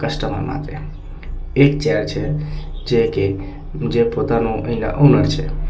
માટે એક ચેર છે જે કે જે પોતાનુ અહીંના ઓનર છે.